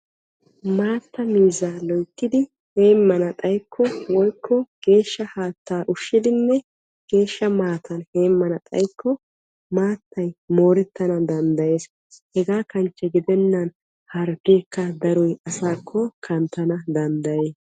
Maatta miizza loyttiddi heemana xayikko woykko geeshsha haatta ushshiddi geeshsha maatan heemana xayikko maatay moorettanna danddayees hegaa kanchche gidennan harggekka asaakko kanttanna danddayees.